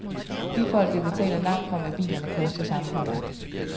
Bilfolket betaler langt fra, hvad bilerne koster samfundet.